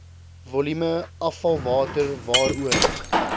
volume afvalwater waaroor